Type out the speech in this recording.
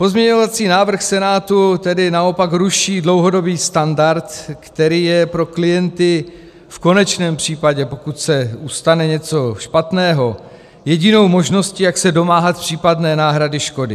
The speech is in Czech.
Pozměňovací návrh Senátu tedy naopak ruší dlouhodobý standard, který je pro klienty v konečném případě, pokud se stane něco špatného, jedinou možností, jak se domáhat případné náhrady škody.